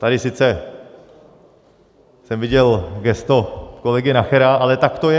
Tady sice jsem viděl gesto kolegy Nachera, ale tak to je.